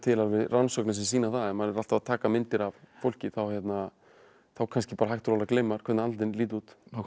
rannsóknir sem sýna að ef maður er alltaf að taka myndir af fólki þá kannski bara hægt og rólega gleymir maður hvernig andlitin líta út